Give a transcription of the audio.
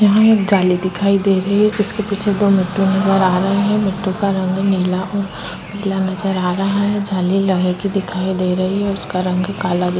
यहाँ एक जाली दिखाई दे रही है जिसके पीछे दो लट्टू नजर आ रहे है लट्टू का रंग नीला और पीला नजर आ रहा है जाली लोहे की दिखाई दे रही है उसका रंग काला दिख-- -